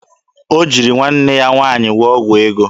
O jiri nwanne ya nwaanyị gwụọ ọgwụ ego?